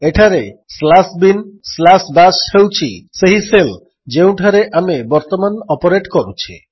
ଏଠାରେ slash bin slash bash ହେଉଛି ସେହି ଶେଲ୍ ଯେଉଁଠାରେ ଆମେ ବର୍ତ୍ତମାନ ଅପରେଟ୍ କରୁଛେ